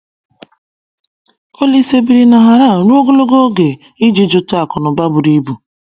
Olise biri na Haran ruo ogologo oge iji jụta akụnụba buru ibu.